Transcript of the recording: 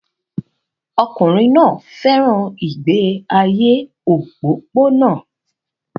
Ọkùnrin náà fẹ́ràn ìgbé ayé òpópónà